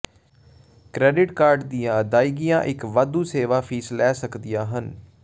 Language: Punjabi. ਕ੍ਰੈਡਿਟ ਕਾਰਡ ਦੀਆਂ ਅਦਾਇਗੀਆਂ ਇੱਕ ਵਾਧੂ ਸੇਵਾ ਫੀਸ ਲੈ ਸਕਦੀਆਂ ਹਨ